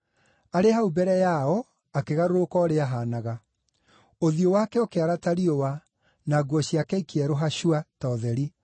Arĩ hau mbere yao akĩgarũrũka ũrĩa aahaanaga. Ũthiũ wake ũkĩara ta riũa, na nguo ciake ikĩerũha cua, ta ũtheri.